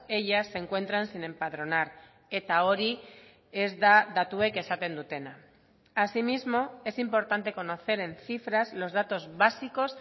ellas se encuentran sin empadronar eta hori ez da datuek esaten dutena asimismo es importante conocer en cifras los datos básicos